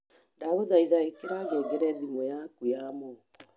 ndagũthaĩtha ĩkira ngengere thimũ yakwa ya moko